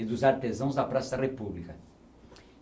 e dos artesãos da Praça da República.